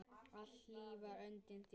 Alltaf hlý var höndin þín.